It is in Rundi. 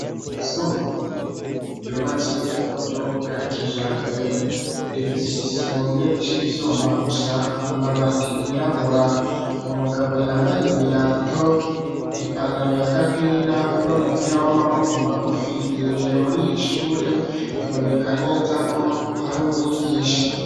Isumbuye ryubatse ku buryo bwa kija mbere revisi igisenge c'ivyuma gusa amabati yirabura umugabo yambaye ibirato ipantaro ya gapira no mupira w'amaboko magufi yinjiye muri iri shure biboneka neza ko ari umw'igiye.